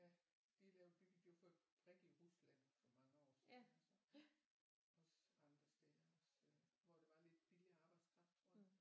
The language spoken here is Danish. Ja de har lavet de byggede jo fabrik i Rusland for mange år siden altså også andre steder hvor det var lidt billigere arbejdskraft tror jeg